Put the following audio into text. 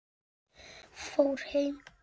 Fór heim?